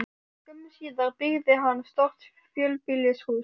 Skömmu síðar byggði hann stórt fjölbýlishús.